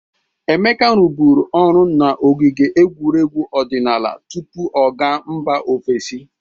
Emeka rụbụrụ ọrụ n'ogige egwuregwu odịnaala tupu ọ ga mba ofesi.